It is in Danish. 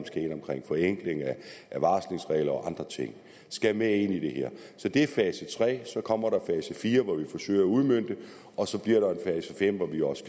forenklinger af varslingsregler og andre ting med ind i det her så det er fase tre så kommer fase fire hvor vi forsøger at udmønte det og så bliver der en fase fem hvor vi også